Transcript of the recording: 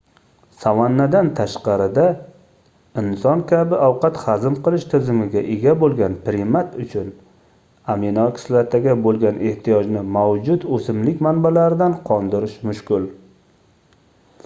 savannadan tashqarida inson kabi ovqat hazm qilish tizimiga ega boʻlgan primat uchun aminokislotaga boʻlgan ehtiyojni mavjud oʻsimlik manbalaridan qondirish mushkul